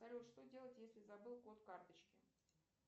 салют что делать если забыл код карточки